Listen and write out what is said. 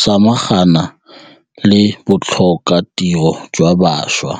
samagana le botlhokatiro jwa bašwa.